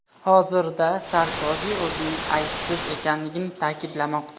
Hozirda Sarkozi o‘zining aybsiz ekanligini ta’kidlamoqda.